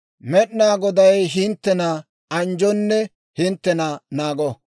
«Med'inaa Goday hinttena anjjonne hinttena naago;